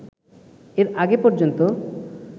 এর আগে পর্যন্ত